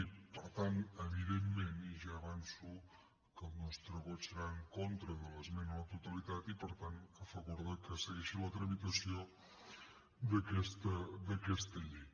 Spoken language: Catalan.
i per tant evidentment ja avanço que el nostre vot serà en contra de l’esmena a la totalitat i per tant a favor que segueixi la tramitació d’aquesta llei